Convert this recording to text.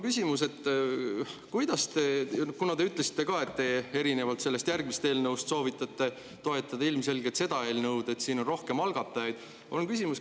Kuna te ütlesite ka, et te erinevalt järgmisest eelnõust soovitate toetada seda eelnõu, sest siin on rohkem algatajaid, siis mul on küsimus.